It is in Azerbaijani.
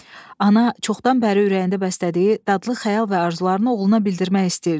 Ana çoxdan bəri ürəyində bəslədiyi dadlı xəyal və arzularını oğluna bildirmək istəyirdi.